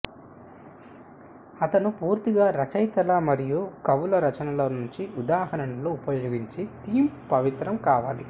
అతను పూర్తిగా రచయితలు మరియు కవులు రచనల నుంచి ఉదాహరణలు ఉపయోగించి థీమ్ పవిత్రం కావాలి